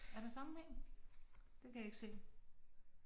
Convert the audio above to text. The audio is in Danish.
Er der sammenhæng? Det kan jeg ikke se